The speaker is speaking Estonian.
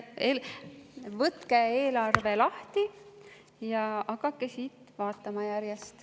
Võtke eelarve lahti ja hakake järjest vaatama.